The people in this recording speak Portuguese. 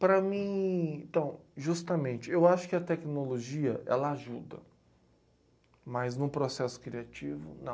Para mim, então, justamente, eu acho que a tecnologia, ela ajuda, mas num processo criativo, não.